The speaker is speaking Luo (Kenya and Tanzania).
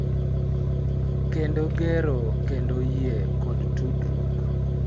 Kendo gero kendo yie kod tudruok.